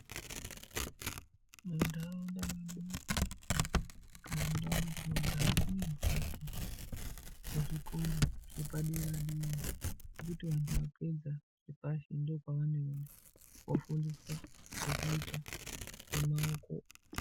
Munharaunda mwedu muno kana mundau mwatinogara kunemhatso dzezvikora zvepaderadera zvekuti kana anhu apedza zvepashi ndokwaanoenda kofundiswa zvekuita nenyara dzawo.